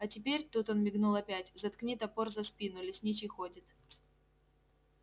а теперь тут он мигнул опять заткни топор за спину лесничий ходит